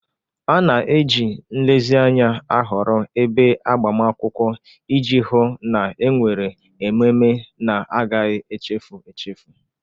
A na-eji nlezianya ahọrọ ebe agbamakwụkwọ iji hụ na e nwere ememe na-agaghị echefu echefu.